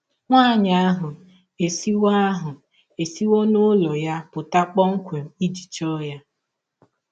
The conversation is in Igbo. Nwanyị ahụ esiwọ ahụ esiwọ n’ụlọ ya pụta kpọmkwem iji chọọ ya.